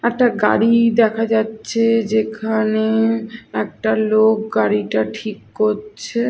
একটা গাড়ি দেখা যাচ্ছে যেখানে একটা লোক গাড়িটা ঠিক করছে।